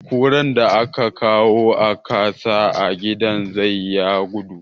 Kuran da aka kawo a ka sa a gidan zoo ya gudu.